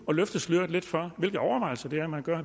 at løfte sløret lidt for hvilke overvejelser det er man gør